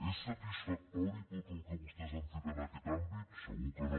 és satisfactori tot el que vostès han fet en aquest àmbit segur que no